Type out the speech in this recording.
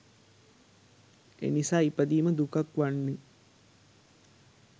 එනිසා ඉපදීම දුකක් වන්නේ